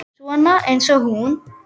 Svona eins og hún?